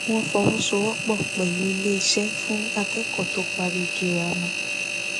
wọn fọwọsowọpọ pẹlú iléeṣé fún akẹkọọ tó parí girama